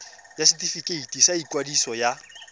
ya setefikeiti sa ikwadiso ya